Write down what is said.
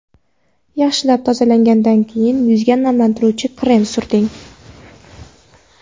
Yaxshilab tozalagandan keyin yuzga namlantiruvchi krem surting.